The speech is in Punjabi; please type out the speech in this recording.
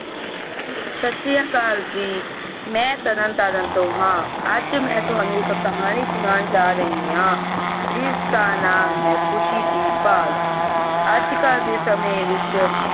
ਸਤਸ਼੍ਰੀਕਾਲ ਜੀ ਮੈਂ ਤਰਨ ਤਾਰਨ ਤੋਂ ਹੈ ਅੱਜ ਮੈ ਤੁਹਾਨੂੰ ਇਕ ਕਹਾਣੀ ਸੁਣਾਉਣ ਜਾ ਰਹੀ ਆ ਜਿਸ ਦਾ ਨਾਮ ਹੈ ਖੁਸ਼ੀ ਦੀ ਭਾਲ ਅੱਜ ਕਲ ਦੇ ਸਮੇਂ ਵਿਚ।